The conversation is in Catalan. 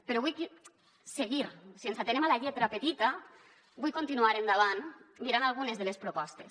però vullc seguir si ens atenem a la lletra petita vullc continuar endavant mirant algunes de les propostes